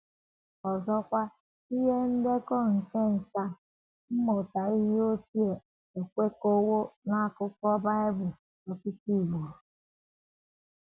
Ọzọkwa, ihe ndekọ nke nkà mmụta ihe ochie ekwekọwo n’akụkọ Bible ọtụtụ ugboro.